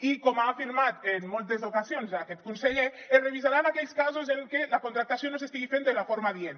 i com ha afirmat en moltes ocasions aquest conseller es revisaran aquells casos en què la contractació no s’estigui fent de la forma adient